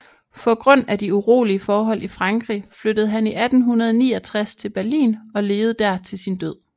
Få grund af de urolige forhold i Frankrig flyttede han i 1869 til Berlin og levede der til sin død